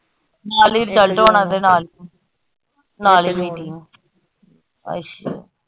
ਨਾਲ ਈ result ਆਓਣਾ ਦੇ ਨਾਲ, ਨਾਲ ਈ meeting ਅੱਛਾ।